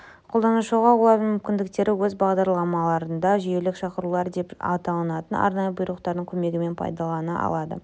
қолданушы олардың мүмкіндіктерін өз бағдарламаларында жүйелік шақырулар деп аталатын арнайы бұйрықтардың көмегімен пайдалана алады